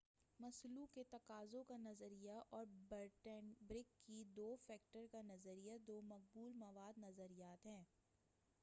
مسلو کے تقاضوں کا نظریہ اور ہرٹزبرگ کی دو فیکٹر کا نظریہ دو مقبول مواد نظریات ہیں